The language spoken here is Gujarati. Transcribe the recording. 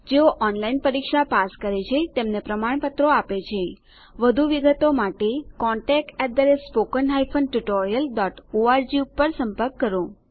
જેઓ ઓનલાઇન પરીક્ષા પાસ કરે છે તેમને પ્રમાણપત્રો આપે છે વધુ વિગતો માટે contactspoken tutorialorg ઉપર સંપર્ક કરો